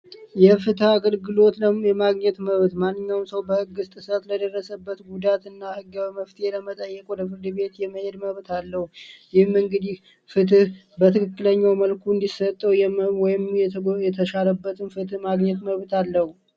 የፍትህ አገልግሎት የማግኘት መብት ማንኛውም ሰው በሕግ ጥስት ለደረሰበት ጉዳት እና ሕገዊ መፍትሄ ለመጣየቅ ወደ ፍርድ ቤት የመሄድ መብት አለው። ይህም እንግዲህ ፍትህ በትክክለኛው መልኩ እንዲሰጠው ወይም የተሻረበትን ፍትህ ማግኘት መብት አለው።